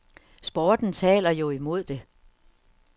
Sporten taler jo imod det.